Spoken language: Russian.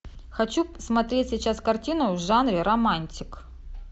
хочу посмотреть сейчас картину в жанре романтик